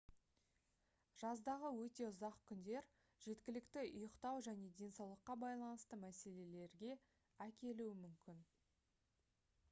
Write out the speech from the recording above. жаздағы өте ұзақ күндер жеткілікті ұйықтау және денсаулыққа байланысты мәселелерге әкелуі мүмкін